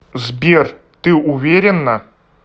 сбер ты уверенна